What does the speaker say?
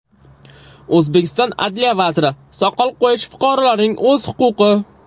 O‘zbekiston adliya vaziri: Soqol qo‘yish fuqarolarning o‘z huquqi.